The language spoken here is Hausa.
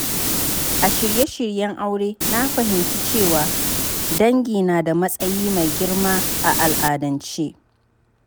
A shirye-shiryen aure, na fahimci cewa dangi na da matsayi mai girma a al’adance.